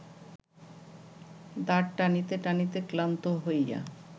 দাঁড় টানিতে টানিতে ক্লান্ত হইয়া